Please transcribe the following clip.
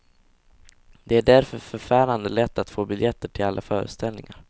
Det är därför förfärande lätt att få biljetter till alla föreställningar.